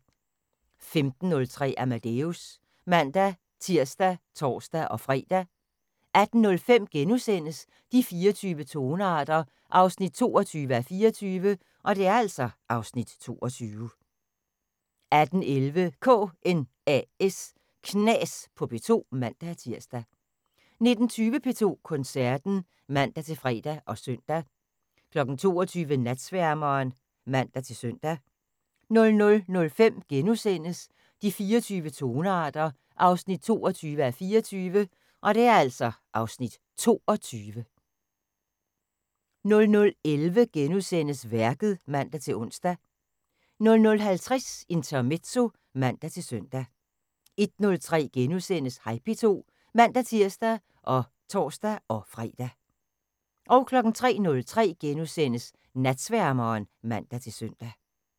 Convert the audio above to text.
15:03: Amadeus (man-tir og tor-fre) 18:05: De 24 tonearter 22:24 (Afs. 22)* 18:11: KNAS på P2 (man-tir) 19:20: P2 Koncerten (man-fre og søn) 22:00: Natsværmeren (man-søn) 00:05: De 24 tonearter 22:24 (Afs. 22)* 00:11: Værket *(man-ons) 00:50: Intermezzo (man-søn) 01:03: Hej P2 *(man-tir og tor-fre) 03:03: Natsværmeren *(man-søn)